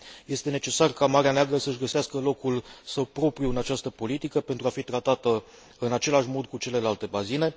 Este necesar ca Marea Neagră să își găsească locul său propriu în această politică pentru a fi tratată în același mod cu celelalte bazine.